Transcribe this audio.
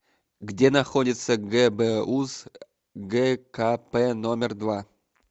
где находится гбуз гкп номер два